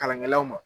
Kalankɛlaw ma